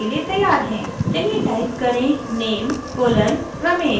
चलिए type करेंname: ramesh